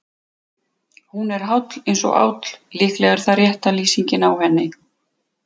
Hún er háll eins og áll, líklega er það rétta lýsingin á henni.